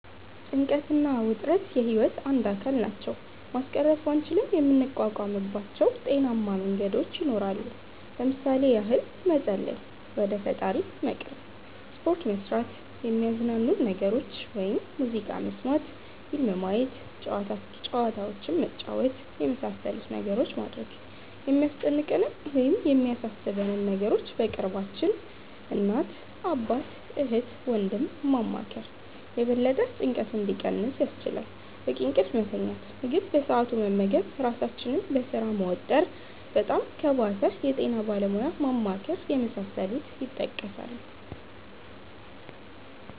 ጭንቀት እና ውጥረት የህይወት አንድ አካል ናቸው። ማስቀረት ባንችልም የምንቋቋምባቸው ጤናማ መንገዶች ይኖራሉ። ለምሣሌ ያህል መፀለይ(ወደ ፈጣሪ መቅረብ)፣ሰፖርት መስራት፣ የሚያዝናኑንን ነገሮች (ሙዚቃ መስመት፣ ፊልም ማየት፣ ጨዋታዎችንን መጫወት)የመሣሠሉትን ነገሮች ማድረግ፣ የሚያስጨንቀንን ወይም የሚያሣሦበንን ነገሮች በቅርባችን (እናት፣ አባት፣ እህት፣ ወንድም )ማማከር የበለጠ ጭንቀቱ እንዲቀንስ ያስችላል፣ በቂ እንቅልፍ መተኛት፣ ምግብ በሠአቱ መመገብ ራሣችንን በሥራ መወጠር፣ በጣም ከባሠ የጤና ባለሙያ ማማከር የመሣሠሉት ይጠቀሳሉ።